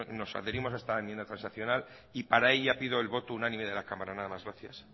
nos adherimos a esta enmienda transaccional y para ella pido el voto unánime de la cámara nada más gracias